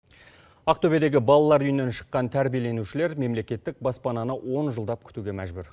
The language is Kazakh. ақтөбедегі балалар үйінен шыққан тәрбиеленушілер мемлекеттік баспананы он жылдап күтуге мәжбүр